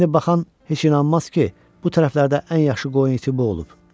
İndi baxan heç inanmaz ki, bu tərəflərdə ən yaxşı qoyun iti bu olub.